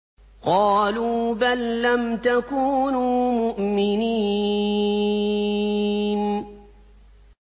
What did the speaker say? قَالُوا بَل لَّمْ تَكُونُوا مُؤْمِنِينَ